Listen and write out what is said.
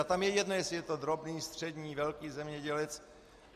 A tam je jedno, jestli je to drobný, střední, velký zemědělec.